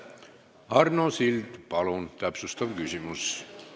Arno Sild, palun täpsustav küsimus!